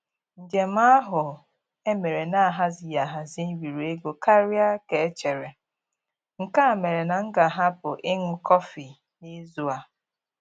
Njem ahụ e mere na-ahazighị ahazi riri ego karịa ka e chere, nke mere na m ga-ahapụ ịṅụ kọfị n'izu a.